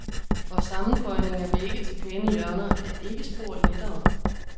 Og sammenføjning af vægge til pæne hjørner er ikke spor lettere.